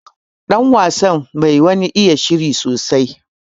Ɗan wasan bai wani iya shirin sosai.